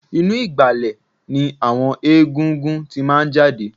Inú ìgbàlẹ̀ ni àwọn egungun tí máa ń jáde